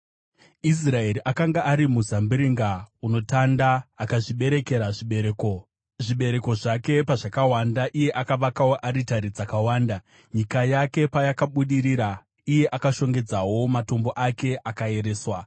Israeri akanga ari muzambiringa unotanda; akazviberekera zvibereko. Zvibereko zvake pazvakawanda, akavakawo aritari dzakawanda; nyika yake payakabudirira, akashongedzawo matombo ake anoera.